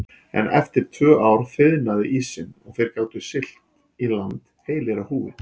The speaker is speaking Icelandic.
En eftir tvö ár þiðnaði ísinn og þeir gátu siglt í land heilir á húfi.